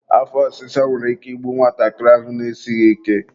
afọ ọsịsa nwere ike igbu nwatakịrị ahụ na-esighi ike.